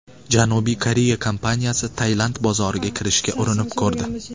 Janubiy Koreya kompaniyasi Tailand bozoriga kirishga urinib ko‘rdi.